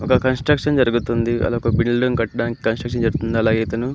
ఒక కాన్స్ట్రుక్షన్ జరుగుతుంది అదొక బిల్డింగ్ కట్టడానికి కంస్ట్రక్షన్ జరుగుతుంది. అలాగే ఇతను --